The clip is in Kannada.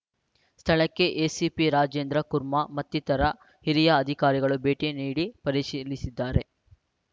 ಸ್ಥಳಕ್ಕೆ ಎಸಿಪಿ ರಾಜೇಂದ್ರ ಕುರ್ಮ ಮತ್ತಿತರ ಹಿರಿಯ ಅಧಿಕಾರಿಗಳು ಭೇಟಿ ನೀಡಿ ಪರಿಶೀಲಿಸಿದ್ದಾರೆ